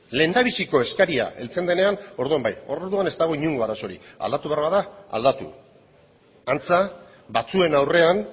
lehendabiziko eskaria heltzen denean orduan bai orduan ez dago inongo arazorik aldatu behar bada aldatu antza batzuen aurrean